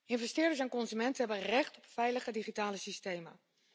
Investeerders en consumenten hebben recht op veilige digitale systemen.